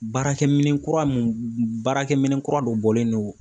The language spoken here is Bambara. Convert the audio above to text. Baarakɛminɛn kura mun baarakɛminɛn kura dɔ bɔlen don.